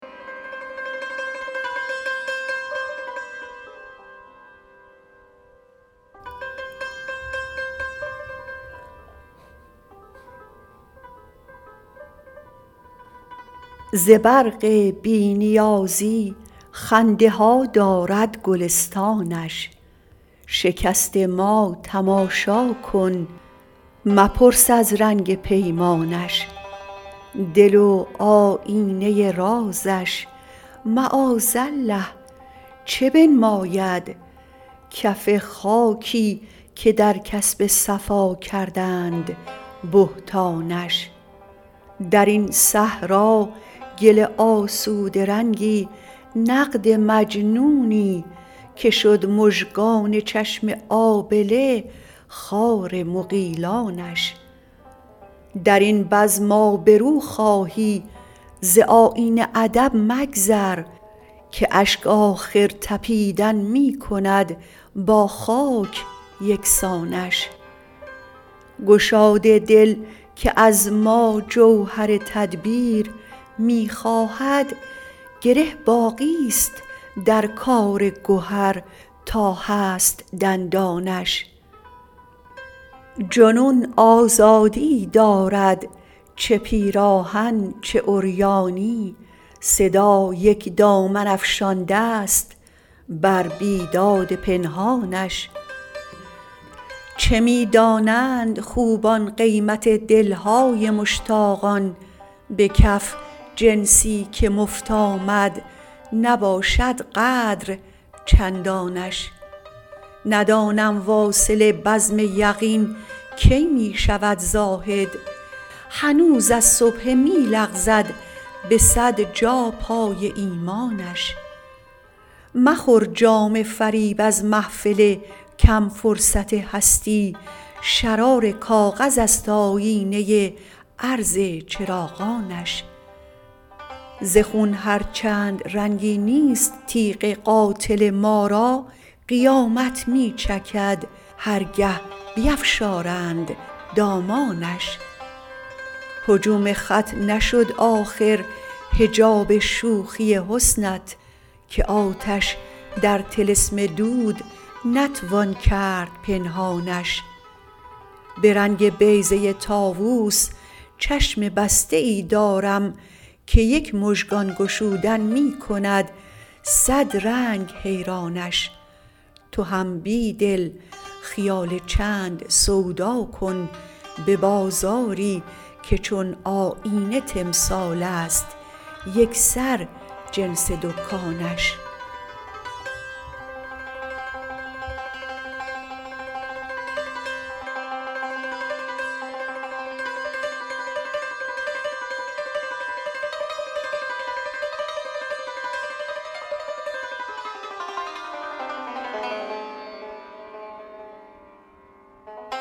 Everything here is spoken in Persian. ز برق بی نیازی خنده ها دارد گلستانش شکست ما تماشا کن مپرس از رنگ پیمانش دل و آیینه رازش معاذالله چه بنماید کف خاکی که درکسب صفاکردند بهتانش درین صحراگل آسوده رنگی نقد مجنونی که شد مژگان چشم آبله خار مغیلانش درین بزم آبرو خواهی زآیین ادب مگذر که اشک آخرتپیدن می کند با خاک یکسانش گشاد دل که از ما جوهر تدبیر می خواهد گره باقی ست در کار گهر تا هست دندانش جنون آزادیی دارد چه پیراهن چه عریانی صدا یک دامن افشانده ست بر بیداد پنهانش چه می دانند خوبان قیمت دلهای مشتاقان به کف جنسی که مفت آمد نباشد قدر چندانش ندانم واصل بزم یقین کی می شود زاهد هنوز از سبحه می لغزد به صد جا پای ایمانش مخور جام فریب از محفل کمفرصت هستی شرار کاغذ است آیینه عرض چراغانش زخون هرچند رنگی نیست تیغ قاتل ما را قیامت می چکد هرگه بیفشارند دامانش هجوم خط نشد آخر حجاب شوخی حسنت که آتش در طلسم دود نتوان کرد پنهانش به رنگ بیضه طاووس چشم بسته ای دارم که یک مژگان گشودن می کند صد رنگ حیرانش تو هم بیدل خیال چند سوداکن به بازاری که چون آیینه تمثالست یکسر جنس دکانش